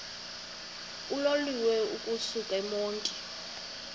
uloliwe ukusuk emontini